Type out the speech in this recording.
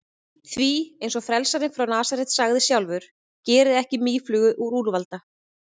Því, eins og frelsarinn frá Nasaret sagði sjálfur: Gerið ekki mýflugu úr úlfalda.